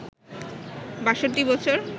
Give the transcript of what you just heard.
৬২ বছর